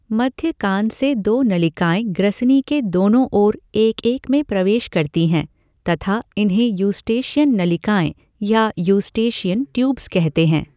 मध्य कान से दो नलिकाएं ग्रसनी के दोनों ओर एक एक में प्रवेश करती हैं तथा इन्हें यॅस्टेशियन नलिकाएं या यॅस्टेशियन ट्यूब्स कहते हैं।